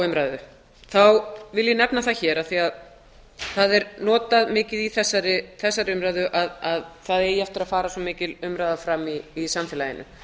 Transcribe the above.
umræðu vil ég nefna það hér að þegar það er notað mikið í þessari umræðu að það eigi eftir að fara svo mikil umræða fram í samfélaginu